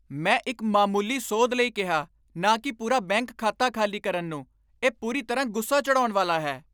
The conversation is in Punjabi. ਮੈਂ ਇੱਕ ਮਾਮੂਲੀ ਸੋਧ ਲਈ ਕਿਹਾ, ਨਾ ਕਿ ਪੂਰਾ ਬੈਂਕ ਖਾਤਾ ਖਾਲੀ ਕਰਨ ਨੂੰ! ਇਹ ਪੂਰੀ ਤਰ੍ਹਾਂ ਗੁੱਸਾ ਚੜ੍ਹਾਉਣ ਵਾਲਾ ਹੈ।